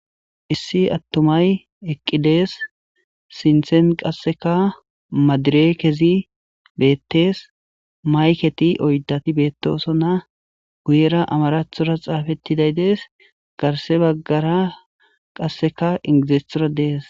Issi atumay eqi des sinten qaseka madirekezi betes mayketi oydati betosona guyera amaratora xafetiday des garsa bagara qaseka inglizatora des.